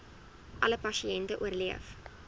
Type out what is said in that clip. alle pasiënte oorleef